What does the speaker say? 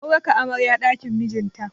Mun raka amaryar ɗakin mijinta.